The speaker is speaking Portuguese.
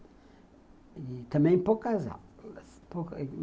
E também poucas aulas.